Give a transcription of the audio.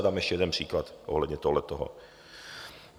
A dám ještě jeden příklad ohledně tohohletoho.